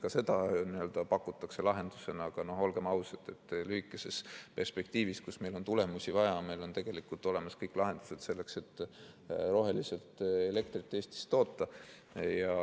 Ka seda pakutakse lahendusena, aga olgem ausad, lühikeses perspektiivis, kus meil on tulemusi vaja, on meil tegelikult olemas kõik lahendused selleks, et Eestis roheliselt elektrit toota.